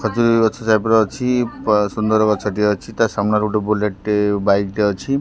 ଖଜୁରୀ ଗଛ ସେପଟେ ଅଛି ସୁନ୍ଦର ଗଛ ଟିଏ ଅଛି। ତା ସାମ୍ନା ରେ ଗୋଟେ ବୁଲେଟ ଟେ ବାଇକ ଟେ ଅଛି।